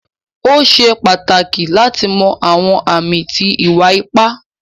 O ṣè pátákì láti mọ̀ àwọn àmì tí ìwà-ìpà.